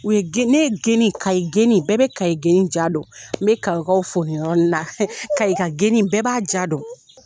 U ye geni, ne ye geni, kayi geni bɛɛ be kayi geni ja dɔn. N be kayi kaw fo nin yɔrɔni na. Kayi ka geni bɛɛ b'a ja dɔn.